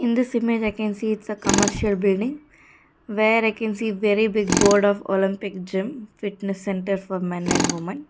in this image i can see it's a commercial building where i can see very big board of olympic gym fitness center for men and women.